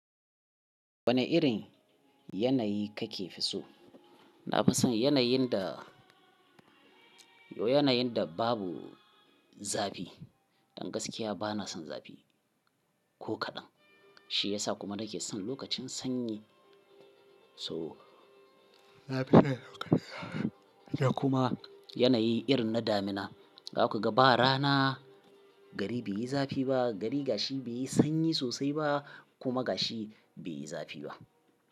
Wanne irin yanayi kake fi so? Na fi son yanayin da, yo yanayin da babu zafi. Dan gaskiya ba na son zafi ko kaɗan. Shi yasa kuma nake son lokacin sanyi. So, na fi son lokacin da kuma yanayi irin na damina. Za ku ga ba rana, gari bai yi zafi ba, gari gashi bai yi sanyi sosai ba kuma gashi bai yi zafi ba.